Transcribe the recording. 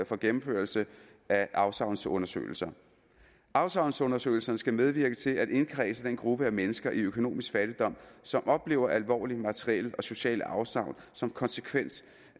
for gennemførelse af afsavnsundersøgelser afsavnsundersøgelserne skal medvirke til at indkredse den gruppe af mennesker i økonomisk fattigdom som oplever alvorlige materielle og sociale afsavn som konsekvens